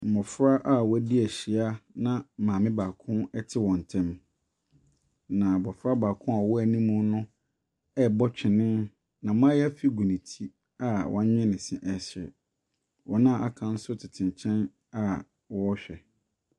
Mmofra a wɔadi ahyia na maame baako te wɔn ntam. Na abofra baako a ɔwɔ anim no rebɔ twenee na maayafi gu ne ti a wanwee ne se resere. Wɔn a aka no nso tete akyi a wɔrehwɛ.